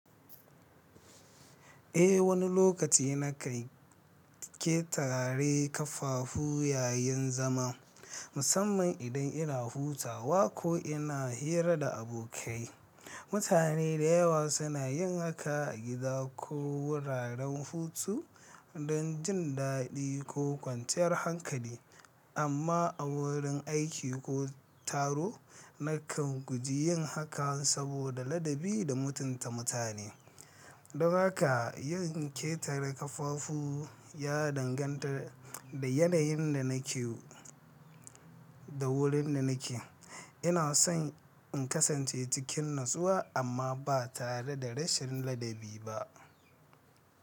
Eh, wani lokaci na kan ƙetare kafafu yayin zama, musamman idan ina hutawa ko ina hira da abokai. Mutane da yawa suna yin haka a gida ko wuraren hutu don jin daɗi ko kwanciyar hankali, amma a wurin aiki ko taro, nakan guji yin haka saboda ladabi da mutunta mutane. Don haka, yin ƙetare kafafu ya danganta da yanayin da nake da wurin da nake. Ina son in kasance cikin natsuwa amma ba tare da rashin ladabi ba.